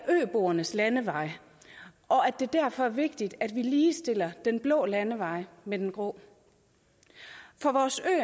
øboernes landevej og at det derfor er vigtigt at vi ligestiller den blå landevej med den grå for vores